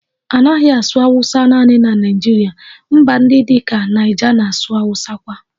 A naghị asụ Awusa naanị na Naịjirịa, mba ndị dị ka Niger na-asụ Awusa kwa